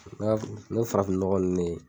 n me farafinnɔgɔ nunen.